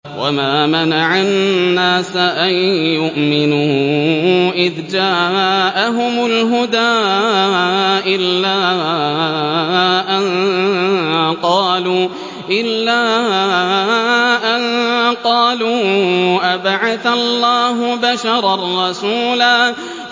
وَمَا مَنَعَ النَّاسَ أَن يُؤْمِنُوا إِذْ جَاءَهُمُ الْهُدَىٰ إِلَّا أَن قَالُوا أَبَعَثَ اللَّهُ بَشَرًا رَّسُولًا